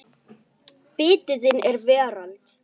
Biti þinn er veröld öll.